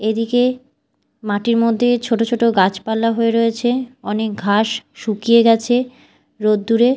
এদিকে মাটির মধ্যে ছোট ছোট গাছপালা হয়ে রয়েছে অনেক ঘাস শুকিয়ে গেছে রোদ্দুরে।